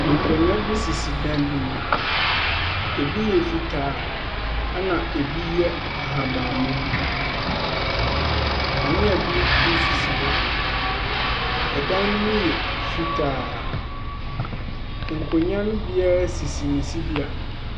Nkonnwa bi sisi dan bi mu. Ebi yɛ fitaa na ebi yɛ ahabanmma. Kanea bi nso si hɔ. Ɛdan no mu yɛ fitaa. Nkonnwa no mu biara sisi ne sibea.